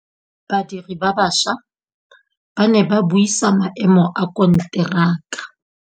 Badiri ba baša ba ne ba buisa maêmô a konteraka.